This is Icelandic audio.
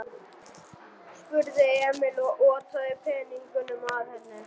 spurði Emil og otaði peningunum að henni.